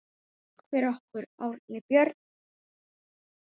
Takk fyrir okkur, Árni Björn!